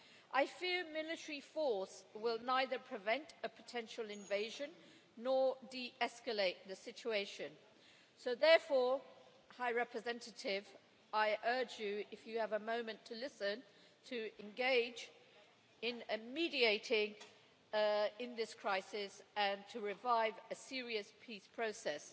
I fear military force will neither prevent a potential invasion nor de escalate the situation, so therefore, High Representative, I urge you, if you have a moment to listen, to engage in mediating in this crisis and to revive a serious peace process.